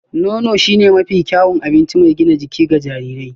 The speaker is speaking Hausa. Nono shine mafi kyawun abinci mai gina jiki ga jarirai